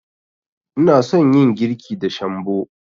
Ina son yin girki da shambo.